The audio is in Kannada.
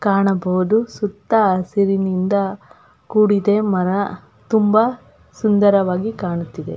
ಕಾಣಬಹುದು ಸುತ್ತ ಹಸಿರಿನಿಂದ ಕೂಡಿದೆ ಮರ ತುಂಬಾ ಸುಂದರವಾಗಿ ಕಾಣುತ್ತಿದೆ.